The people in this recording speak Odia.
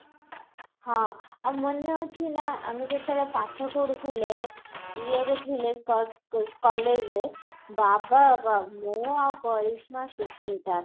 ଆଉ ମନେ ଅଚିନା ଆମେ ଯେତେବେଳେ ପାଠ ପଢୁଥିଲେ ଇଏ ରେ ଥିଲେ କ କ collage ରେ ବା ବା ମୁଁ ଆଉ କରିସ୍ମା ସୁସ୍ମିତା